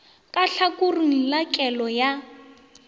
ka tlhakoring la kellelo ya